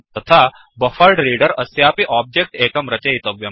तथा बफरेड्रेडर अस्यापि ओब्जेक्ट् एकं रचयितव्यम्